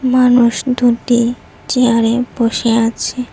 মানুষ দুটি চেয়ারে বসে আছে।